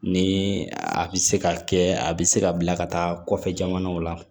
Ni a bɛ se ka kɛ a bɛ se ka bila ka taa kɔfɛ jamanaw la